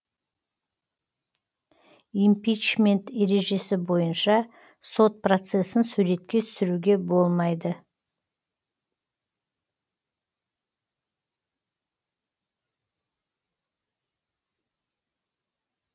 импичмент ережесі бойынша сот процесін суретке түсіруге болмайды